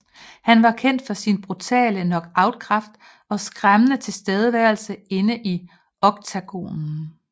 Han var kendt for sin brutale knockoutkraft og skræmmende tilstedeværelse inde i octagonen